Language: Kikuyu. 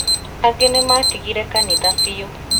Angĩ nĩmatigire kanitha biũ